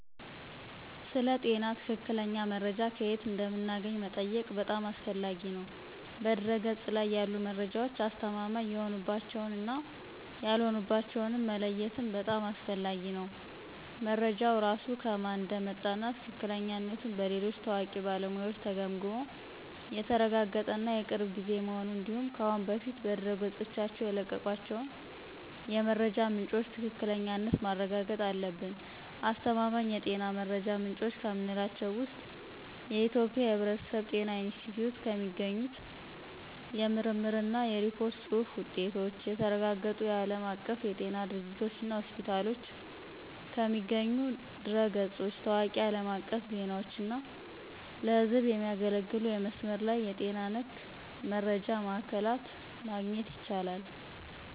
ስለ ጤና ትክክለኛ መረጃ ከየት እንደምናገኝ መጠየቅህ በጣም አስፈላጊ ነው። በድህረ-ገጽ ላይ ያሉ መረጃዎች አስተማማኝ የሆኑባቸውን እና ያልሆኑባቸውን መለየትም በጣም አስፈላጊ ነው። መረጃው ራሱ ከማን እንደመጣ እና ትክክለኛነቱ በሌሎች ታዋቂ ባለሙያዎች ተገምግሞ የተረጋገጠ እና የቅርብ ጊዜ መሆኑን እንዲሁም ከአሁን በፊት በድረገጾቻቸው የለቀቋቸው የመረጃ ምንጮች ትክክለኛነት ማረጋገጥ አለብን። አስተማማኝ የጤና መረጃ ምንጮች ከምንላቸው ውስጥ የኢትዮጵያ የሕብረተሰብ ጤና ኢንስቲትዩት ከሚገኙ የምርምር እና የሪፖርት ጽሁፍ ውጤቶች፣ የተረጋገጡ የዓለም አቀፍ የጤና ድርጅቶችና ሆስፒታሎች ከሚገኙ ድረ-ገጾች፣ ታዋቂ አለም አቀፍ ዜናዎች እና ለህዝብ የሚያገለግሉ የመስመር ላይ የጤና ነክ መረጃ ማዕከላት ማግኘት ይቻላል።